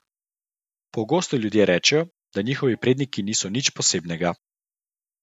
Pogosto ljudje rečejo, da njihovi predniki niso nič posebnega.